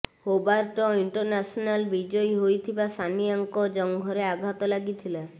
Hobart International ବିଜୟୀ ହୋଇଥିବା ସାନିଆଙ୍କ ଜଙ୍ଘରେ ଆଘାତ ଲାଗିଥିଲା